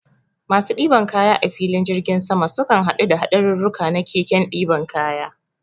Masu ɗiban kaya a filin jirgin sama, sukan haɗu da haɗarurruka na keken ɗiban kaya.